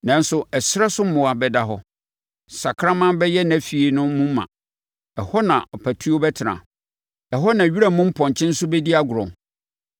Nanso ɛserɛ so mmoa bɛda hɔ. Sakraman bɛyɛ nʼafie no mu ma; ɛhɔ na apatuo bɛtena, ɛhɔ na wira mu mpɔnkye nso bɛdi agorɔ.